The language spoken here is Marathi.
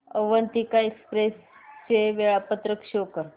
अवंतिका एक्सप्रेस चे वेळापत्रक शो कर